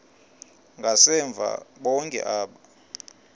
ngasemva bonke aba